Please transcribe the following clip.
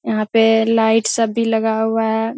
यहाँ पे लाइट सब भी लगा हुआ है।